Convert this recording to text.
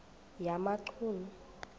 yamachunu